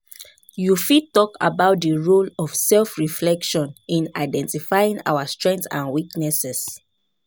You fit talk about di role of self-reflection in identifying our strengths and weaknesses?